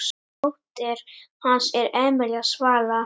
Dóttir hans er Emelía Svala.